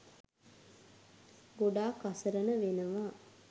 ගොඩක් අසරණ වෙනවා.